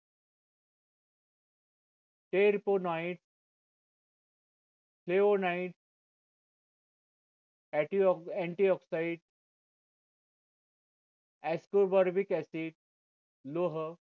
antioxide लोह